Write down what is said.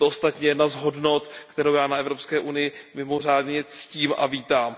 Je to ostatně jedna z hodnot, kterou já na Evropské unii mimořádně ctím a vítám.